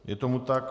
Je tomu tak.